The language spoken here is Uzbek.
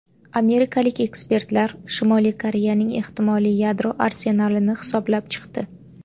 Amerikalik ekspertlar Shimoliy Koreyaning ehtimoliy yadro arsenalini hisoblab chiqdi.